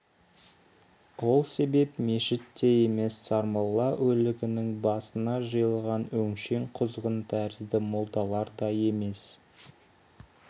ол себеп мешіт те емес сармолла өлігінің басына жиылған өңшең құзғын тәрізді молдалар да емес